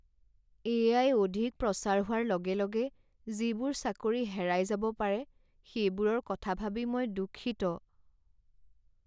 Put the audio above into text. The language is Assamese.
এ.আই. অধিক প্ৰচাৰ হোৱাৰ লগে লগে যিবোৰ চাকৰি হেৰাই যাব পাৰে সেইবোৰৰ কথা ভাবি মই দুঃখিত।